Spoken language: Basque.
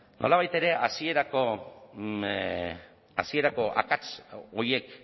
nolabait ere hasierako akats horiek